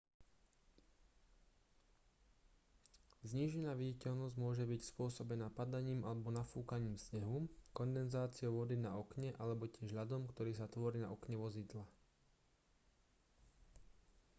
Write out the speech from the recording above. znížená viditeľnosť môže byť spôsobená padaním alebo nafúkaním snehu kondenzáciou vody na okne alebo tiež ľadom ktorý sa tvorí na okne vozidla